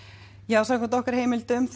nú samkvæmt heimildum